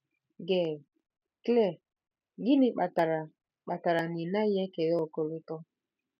Gail: Claire, gịnị kpatara kpatara na ị naghị ekele ọkọlọtọ?